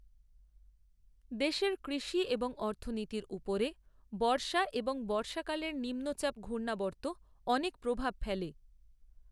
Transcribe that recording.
দেশের কৃষি এবং অর্থনীতির উপরে বর্ষা এবং বর্ষাকালের নিম্নচাপ ঘূর্ণাবর্ত অনেক প্রভাব ফেলে